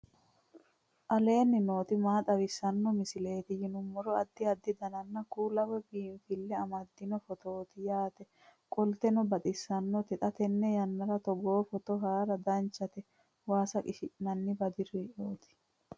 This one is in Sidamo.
aleenni nooti maa xawisanno misileeti yinummoro addi addi dananna kuula woy biinfille amaddino footooti yaate qoltenno baxissannote xa tenne yannanni togoo footo haara danchate waasa qishshi'nanni badirooti